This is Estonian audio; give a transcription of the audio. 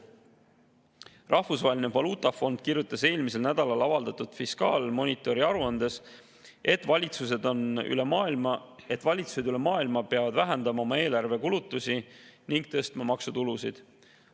Rahvusvaheline Valuutafond kirjutas eelmisel nädalal avaldatud fiskaalmonitori aruandes, et valitsused üle maailma peavad vähendama oma eelarvekulutusi ning suurendama maksutulusid.